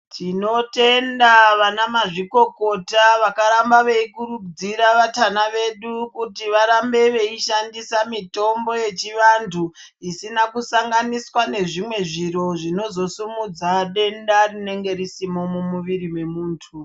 Tinotenda vana mazvikokota vakaramba veikurudzira vatana vedu kuti varambe veishandisa mitombo yechivantu. Isina kusanganiswa nezvimwe zviro zvinozosimudza denda rinenge risimo mumuviri mwemuntu.